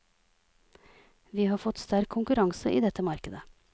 Vi har fått sterk konkurranse i dette markedet.